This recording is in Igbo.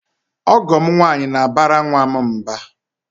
Ọgọ m nwaanyị na-abara nwa m mba.